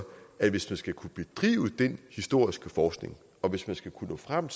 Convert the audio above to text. at hvis man skal kunne bedrive den historiske forskning og hvis man skal kunne nå frem